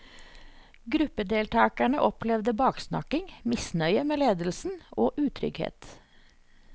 Gruppedeltakerne opplevde baksnakking, misnøye med ledelsen og utrygghet.